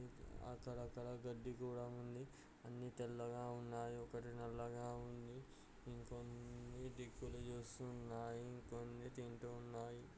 అక్కడక్కడ గడ్డి కూడా ఉంది. అన్నీ తెల్లగా ఉన్నాయి ఒకటి నల్లగా ఉంది. ఇంకొన్ని దిక్కులు చూస్తూ ఉన్నాయి కొన్ని తింటూ ఉన్నాయి.